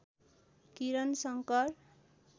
Kiran Shankar